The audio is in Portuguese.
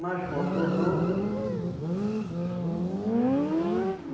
Mas contornou.